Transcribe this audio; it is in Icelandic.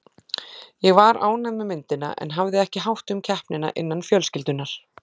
Ég var ánægð með myndina en hafði ekki hátt um keppnina innan fjölskyldunnar.